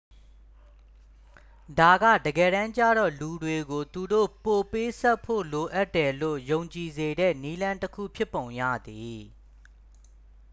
ဒါကတကယ်တမ်းကျတော့ လူတွေကို သူတို့ပိုပေးဆပ်ဖို့ လိုအပ်တယ်လို့ ယုံကြည်စေတဲ့ နည်းလမ်းတစ်ခု ဖြစ်ပုံရတယ်